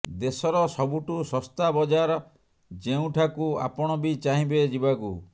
ଦେଶର ସବୁଠୁ ଶସ୍ତା ବଜାର ଯେଉଁଠାକୁ ଆପଣ ବି ଚାହିଁବେ ଯିବାକୁ